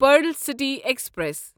pearl City express